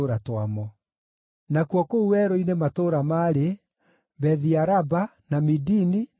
Nakuo kũu werũ-inĩ matũũra maarĩ: Bethi-Araba, na Midini, na Sekaka,